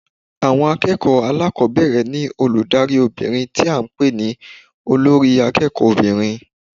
Àwon akéèkòó alákòbéèrè ní olùdarí obìnrin tí a n pè ní Olórí akéèkó obìnrin